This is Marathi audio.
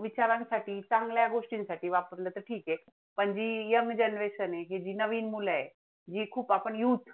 विचारांसाठी, चांगल्या गोष्टींसाठी हे वापरलं तर ठिक आहे, म्हणजे young genearation आहे, ही जी नवीन मुलं आहेत, हे खूप आपण youth